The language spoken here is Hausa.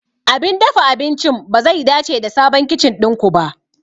Abin dafa abincin bazai dace da sabon kicin ɗin ku ba.